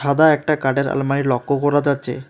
সাদা একটা কাটের আলমারি লক্য করা যাচ্চে।